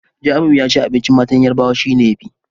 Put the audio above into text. Jamiu yace abincin matan Yarbawa shine yafi